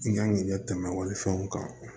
I kan k'i ɲɛ tɛmɛ wali fɛnw kan